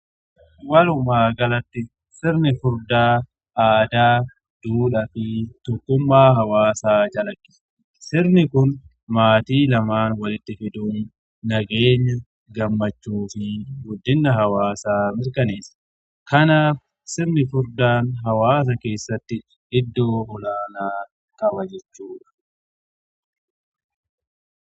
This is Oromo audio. Walumaa galatti sirni furdaa aadaa, duudhaa fi tokkummaa hawaasaa calaqqisiisa. Sirni kun maatii lamaan walitti fiduun nageenya, gammachuu fi guddina hawaasaa mirkaneessa. Kanaaf sirni furdaan hawaasa keessatti iddoo olaanaa qaba jechuudha.